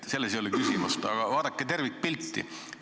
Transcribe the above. Selles ei ole küsimust, aga vaadake tervikpilti.